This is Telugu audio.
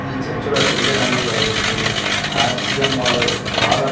ఈ చర్చిలో పెళ్లి అనేది జరుగుతుంది ఆర్ సి ఎమ్ వాళ్ళు వాళ్ళ--